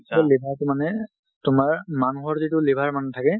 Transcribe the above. সেই liverটো মানে তোমাৰ মানুহৰ যিটো liver মানে থাকে,